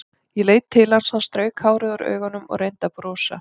Ég leit til hans, hann strauk hárið úr augunum og reyndi að brosa.